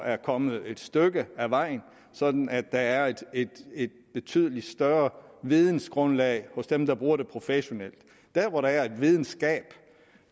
er kommet et stykke ad vejen sådan at der er et betydeligt større vidensgrundlag hos dem der bruger det professionelt der hvor der er et vidensgab